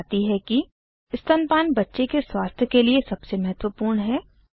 वह बताती है कि स्तनपान बच्चे के स्वस्थ के लिए सबसे महत्वपूर्ण है